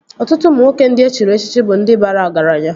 Ọtụtụ ụmụ nwoke ndị e chiri echichi bụ ndị bara ọgaranya